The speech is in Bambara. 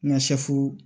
Nka